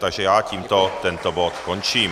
Takže já tímto tento bod končím.